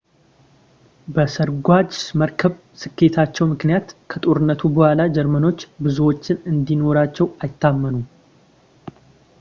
በሰርጓጅ መርከብ ስኬታቸው ምክንያት ከጦርነቱ በኋላ ጀርመኖች ብዙዎቹን እንዲኖራቸው አይታመኑም